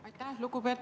Aitäh!